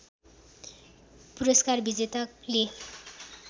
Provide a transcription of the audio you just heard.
पुरस्कार विजेताले